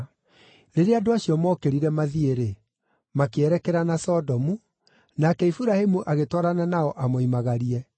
Rĩrĩa andũ acio mookĩrire mathiĩ-rĩ, makĩerekera na Sodomu, nake Iburahĩmu agĩtwarana nao amoimagarie.